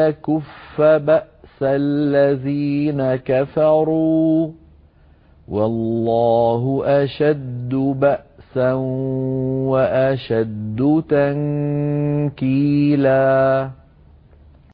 يَكُفَّ بَأْسَ الَّذِينَ كَفَرُوا ۚ وَاللَّهُ أَشَدُّ بَأْسًا وَأَشَدُّ تَنكِيلًا